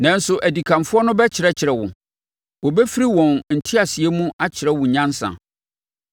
Nanso adikanfoɔ no bɛkyerɛkyerɛ wo. Wɔbɛfiri wɔn nteaseɛ mu akyerɛ wo nyansa.